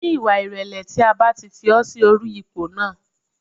Ní ìwà ìrẹ̀lẹ̀ tí a bá ti fi ọ́ sí orí ipò náà